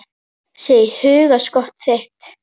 Sé í hugskot þitt.